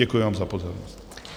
Děkuji vám za pozornost.